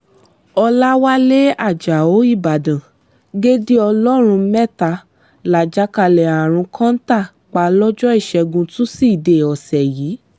ọ̀làwálẹ̀ ajáò ìbàdàn gédé ọlọ́run mẹ́ta lájàkálẹ̀ àrùn kọ́ńtà pa lọ́jọ́ ìṣẹ́gun túṣídéé ọ̀sẹ̀ yìí